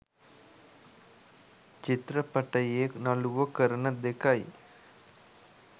චිත්‍රපටයේ නලුවො කරන දෙකයි